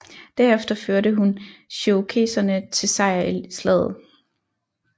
Derefter førte hun cherokeserne til sejr i slaget